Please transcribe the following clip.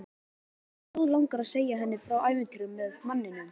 En mig blóðlangar að segja henni frá ævintýrinu með manninum.